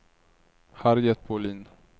Harriet Bohlin